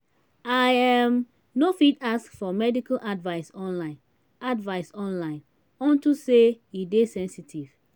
i um no fit ask for medical advice online advice online unto say e dey sensitive